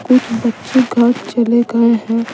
कुछ बच्चे घर चले गए हैं।